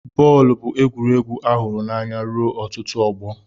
Bọọlụ bụ egwuregwu a hụrụ n'anya ruo ọtụtụ ọgbọ.